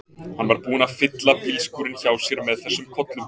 Hann var búinn að fylla bílskúrinn hjá sér með þessum kollum.